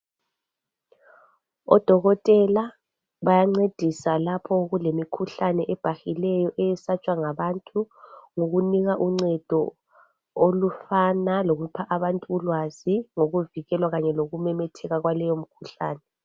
o dokotela bayancedisa lapho okulemikhuhlane ebhahileyo esatshwa ngabantu okunika uncedo oluphana abantu ulwazi lokuvikelwa kanye lokumemetheka lwaleyo mikhuhlane